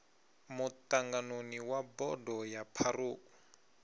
muṱanganoni wa bodo ya pharou